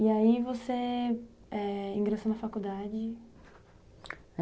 E aí você, é, ingressou na faculdade?